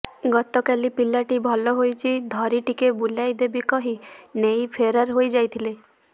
ଗତକାଲି ପିଲାଟି ଭଲ ହୋଇଛି ଧରି ଟିକେ ବୁଲାଇଦେବି କହି ନେଇ ଫେରାର୍ ହୋଇଯାଇଥିଲେ